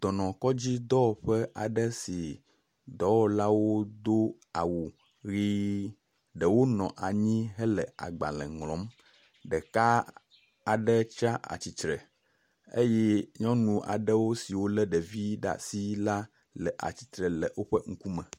dɔkɔdzi dɔwɔƒe aɖe si dɔwɔla do awu ʋi. Ɖewo nɔ anyi hele agbale ŋlɔm. Ɖeka aɖe tsi atsitre eye nyɔnu aɖewo siwo le ɖevi aɖe ɖe asi la le tsitre le woƒe ŋkume.